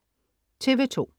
TV2: